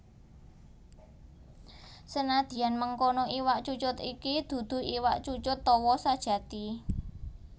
Senadyan mengkono iwak cucut iki dudu iwak cucut tawa sajati